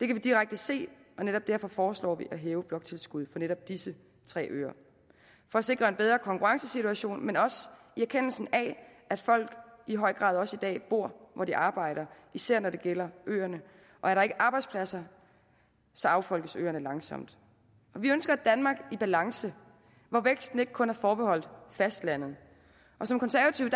vi direkte se og netop derfor foreslår vi at hæve bloktilskuddet for netop disse tre øer for at sikre en bedre konkurrencesituation men også i erkendelsen af at folk i høj grad også i dag bor hvor de arbejder især når det gælder øerne og er der ikke arbejdspladser så affolkes øerne langsomt vi ønsker et danmark i balance hvor væksten ikke kun er forbeholdt fastlandet som konservative